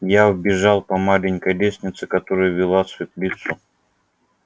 я вбежал по маленькой лестнице которая вела светлицу